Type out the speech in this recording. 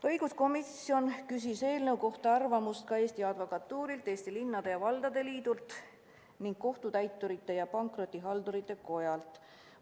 Õiguskomisjon küsis eelnõu kohta arvamust ka Eesti Advokatuurilt, Eesti Linnade ja Valdade Liidult ning Kohtutäiturite ja Pankrotihaldurite Kojalt.